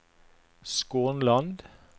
Skånland